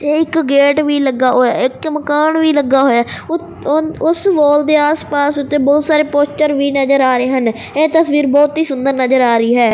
ਇਹ ਇੱਕ ਗੇਟ ਵੀ ਲੱਗਾ ਹੋਇਆ ਇੱਕ ਮਕਾਨ ਵੀ ਲੱਗਾ ਹੋਇਆ ਉ ਉਸ ਵਾਲ ਦੇ ਆਸ ਪਾਸ ਉੱਤੇ ਬਹੁਤ ਸਾਰੇ ਪੋਸਟਰ ਵੀ ਨਜ਼ਰ ਆ ਰਹੇ ਹਨ ਇਹ ਤਸਵੀਰ ਬਹੁਤ ਹੀ ਸੁੰਦਰ ਨਜ਼ਰ ਆ ਰਹੀ ਹੈ।